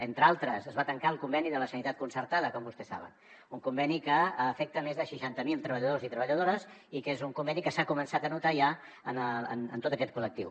entre d’altres es va tancar el conveni de la sanitat concertada com vostès saben un conveni que afecta més de seixanta mil treballadors i treballadores i que és un conveni que s’ha començat a notar ja en tot aquest col·lectiu